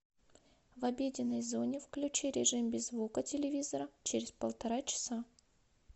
в обеденной зоне включи режим без звука телевизора через полтора часа